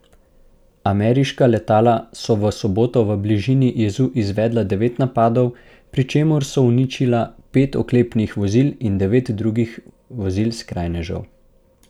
Ameriška letala so v soboto v bližini jezu izvedla devet napadov, pri čemer so uničila pet oklepnih vozil in devet drugih vozil skrajnežev.